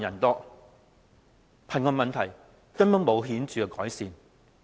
可見，貧窮問題根本沒有顯著改善。